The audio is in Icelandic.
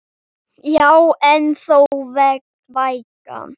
Já en þó vægan.